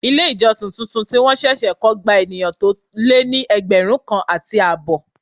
Ilé ìjọsìn tuntun tí wọn ṣẹ̀ṣẹ̀ kọ gba ènìyàn tó lé ní ẹgbẹ̀rún kan àti àbọ̀.